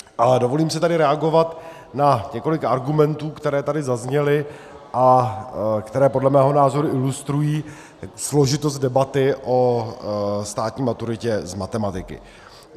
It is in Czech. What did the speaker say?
Ale dovolím si tady reagovat na několik argumentů, které tady zazněly a které podle mého názoru ilustrují složitost debaty o státní maturitě z matematiky.